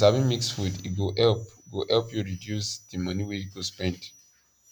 if u sabi mix food e go help go help u reduce the money wa u go spend